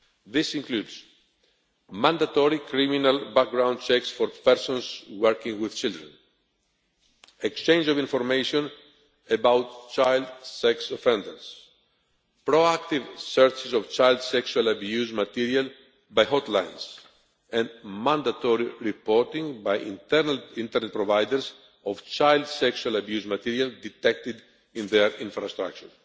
This includes mandatory criminal background checks for persons working with children, exchange of information about child sex offenders, proactive searches of child sexual abuse material by hotlines and mandatory reporting by internal internet providers of child sexual abuse material detected in their infrastructure.